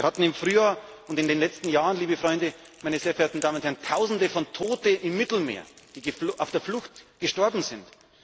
Wir hatten im Frühjahr und in den letzten Jahren, liebe Freunde, sehr verehrte Damen und Herren, Tausende von Toten im Mittelmeer, die auf der Flucht gestorben